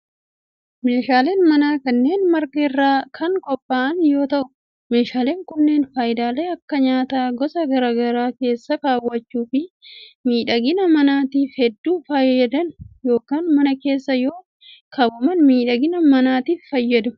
Meeshaaleen manaa kunneen marga irraa kan qopha'an yoo ta'u, meeshaaleen kunneen faayidaalee akka; nyaata gosa garaa garaa keessa kaawwachuu fi miidhagina manaatif hedduu fayyadan yokin mana keessa yeroo kaawwaman miidhagina manaatif fayyadu.